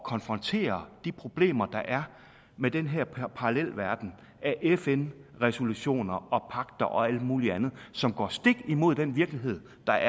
konfrontere de problemer der er med den her parallelverden af fn resolutioner og pagter og alt muligt andet som går stik imod den virkelighed der